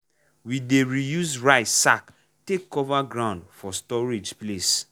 we dey reuse rice sack take cover ground for storage place.